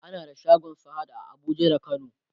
ana da shagon sahad a Abuja da kano